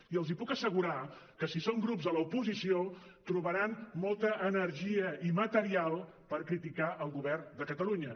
i els puc assegurar que si són grups a l’oposició trobaran molta energia i material per criticar el govern de catalunya